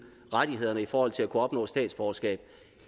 rettighederne i forhold til at kunne opnå statsborgerskab